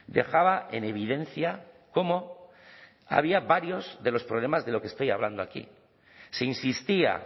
dejaba en evidencia cómo había varios de los problemas de lo que estoy hablando aquí se insistía